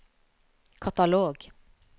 katalog